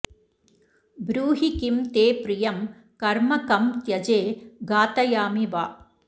ब्रूहि किं ते प्रियं कर्म कं त्यजे घातयामि वा